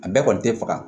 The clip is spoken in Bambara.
A bɛɛ kɔni tɛ faga